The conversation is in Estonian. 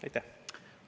Aitäh!